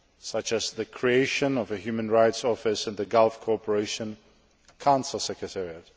such as the creation of a Human Rights Office in the Gulf Cooperation Council secretariat.